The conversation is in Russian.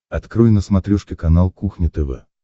открой на смотрешке канал кухня тв